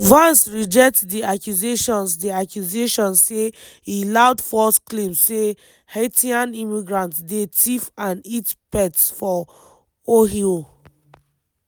vance reject di accusations di accusations say e loud false claims say haitian immigrants dey tiff and eat pets for ohio.